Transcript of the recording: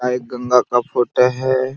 और एक गम्बा का फोटो हैं।